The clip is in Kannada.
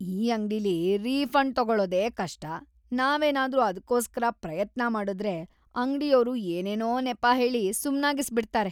ಈ ಅಂಗ್ಡಿಲಿ ರೀಫಂಡ್ ತಗೊಳೋದೇ ಕಷ್ಟ, ನಾವೇನಾದ್ರೂ ಅದ್ಕೋಸ್ಕರ ಪ್ರಯತ್ನ ಮಾಡುದ್ರೆ ಅಂಗ್ಡಿಯೋರು ಏನೇನೋ ನೆಪ ಹೇಳಿ ಸುಮ್ನಾಗಿಸ್ಬಿಡ್ತಾರೆ.